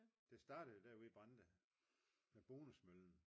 det startede jo derude i Brande med Bonusmøllen